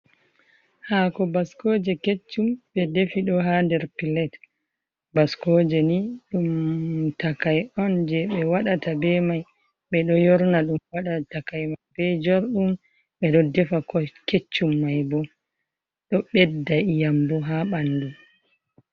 Haako baskooje keccum, ɓe defi ɗo haa nder pilet. Baskooje ni ɗum takai on je ɓe waɗata be mai, ɓe ɗo yorna ɗum waɗa takai mai be jorɗum, ɓe ɗo defa keccum mai bo, ɗo ɓedda iyam bo haa ɓandu.